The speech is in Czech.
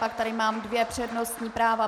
Pak tady mám dvě přednostní práva.